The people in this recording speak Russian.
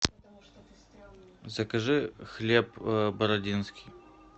закажи хлеб бородинский